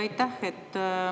Aitäh!